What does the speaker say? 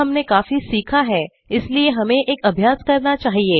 अब हमने काफी सीखा है इसलिए हमें एक अभ्यास करना चाहिए